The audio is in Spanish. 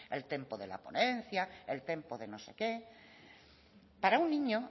el tempo de la ponencia el tempo de no sé qué para un niño